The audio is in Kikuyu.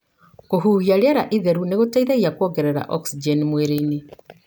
Kũhuhia riera itheru nĩ gũteithagia kuongerera oxygeni mwĩrĩinĩ.